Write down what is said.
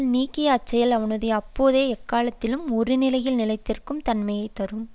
நீக்கிய அச்செயல் அவனுக்கு அப்போதே எக்காலத்திலும் ஒரு நிலையில் நிலைத்திருக்கும் தன்மையை தரும்